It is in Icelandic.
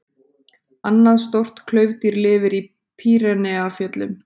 Annað stórt klaufdýr lifir í Pýreneafjöllum.